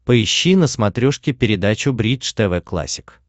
поищи на смотрешке передачу бридж тв классик